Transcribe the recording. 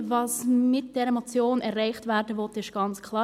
Was mit dieser Motion erreicht werden will, ist ganz klar: